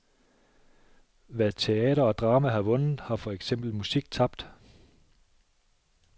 Hvad teater og drama har vundet, har for eksempel musik tabt.